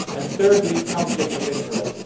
Thirdly, conflicts of interest.